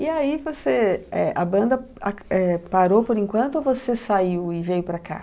E aí você... É. A banda ac, é, parou por enquanto ou você saiu e veio para cá?